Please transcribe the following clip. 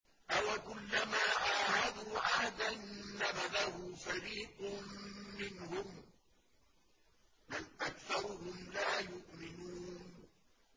أَوَكُلَّمَا عَاهَدُوا عَهْدًا نَّبَذَهُ فَرِيقٌ مِّنْهُم ۚ بَلْ أَكْثَرُهُمْ لَا يُؤْمِنُونَ